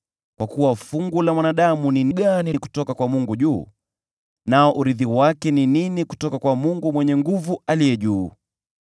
Kwa kuwa fungu la mwanadamu ni gani kutoka kwa Mungu juu, urithi wake kutoka kwa Mungu Mwenye Nguvu Aliye juu?